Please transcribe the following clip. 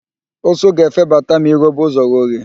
Ụsụ ga-efebata ma I ghobe ụzọ oghe